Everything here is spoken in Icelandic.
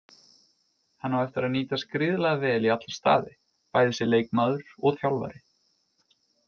Hann á eftir að nýtast gríðarlega vel í alla staði, bæði sem leikmaður og þjálfari.